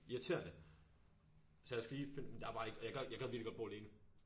Irriterende så jeg skal lige finde der er bare ikke og jeg gad jeg gad virkelig godt bo alene